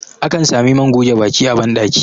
akan Sami man goge Baki a bandaki